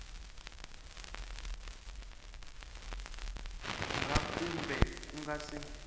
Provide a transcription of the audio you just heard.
ra kumbe ku nga si